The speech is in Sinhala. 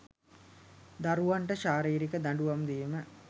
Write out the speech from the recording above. දරුවන්ට ශාරිරික දඩුවම් දීම